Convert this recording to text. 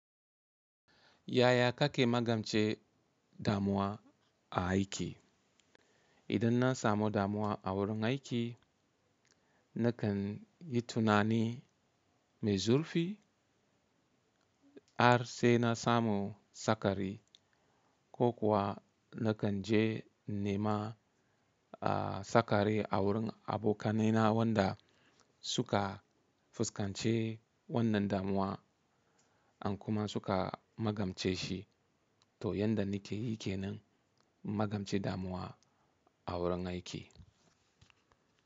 Yaya kake magance damuwa a aiki? Idan na samu damuwa a wurin aiki, na kan yi tunani mai zurfi. Har sai na samu sakari ko kuwa na kan je nema sakari a wurin abokanaina wanda suka fuskance wannan damuwa an kuma suka magance shi. To yanda nike yi kenan magance damuwa a wurin aiki.